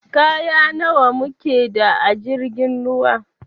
Kaya nawa mu keda a jirgin ruwan?